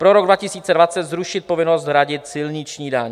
Pro rok 2020 zrušit povinnost hradit silniční daň.